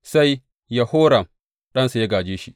Sai Yehoram ɗansa ya gāje shi.